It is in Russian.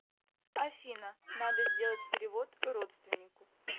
афина надо сделать перевод родственнику